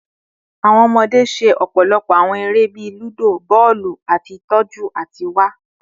Awọn ọmọde ṣe ọpọlọpọ awọn ere bii ludo, bọọlu, ati tọju ati wa